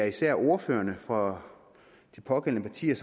især er ordførerne for de pågældende partier